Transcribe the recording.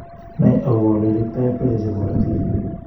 Nai agobaa ole iriptai pressure chebaa korotik